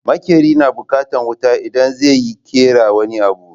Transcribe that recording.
Maƙeri na bukatan wuta idan zai yi ƙera wani abu